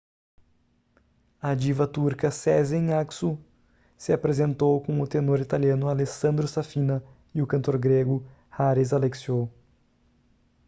a diva turca sezen aksu se apresentou com o tenor italiano alessandro safina e o cantor grego haris alexiou